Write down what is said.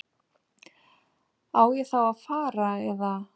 Á ég þá að fara. eða?